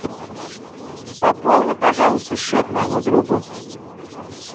пополни пожалуйста счет моему другу